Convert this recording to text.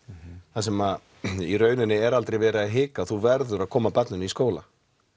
þar sem í raun er aldrei verið að hika því þú verður að koma barninu í skólann